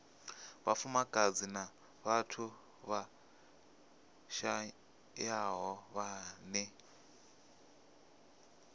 vhafumakadzi na vhathu vhashayaho vhane